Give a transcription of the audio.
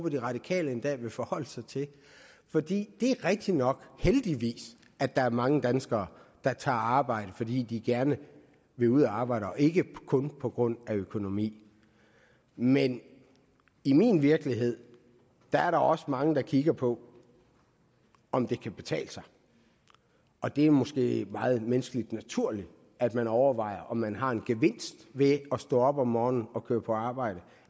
at de radikale en dag vil forholde sig til fordi det er rigtig nok heldigvis at der er mange danskere der tager arbejde fordi de gerne vil ud at arbejde og ikke kun på grund af økonomi men i min virkelighed er der også mange der kigger på om det kan betale sig og det er måske meget menneskeligt naturligt at man overvejer om man har en gevinst ved at stå op om morgenen og køre på arbejde